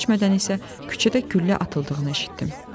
Çox keçmədən isə küçədə güllə atıldığını eşitdim.